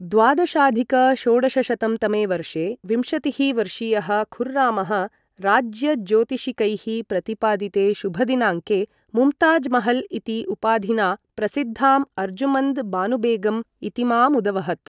द्वादशाधिक षोडशशतं तमे वर्षे विंशतिः वर्षीयः खुर्रामः राजज्योतिषिकैः प्रतिपादिते शुभदिनाङ्के मुम्ताजमहल् इति उपाधिना प्रसिद्धां अर्जुमन्द् बानुबेगम् इतीमामुदवहत्।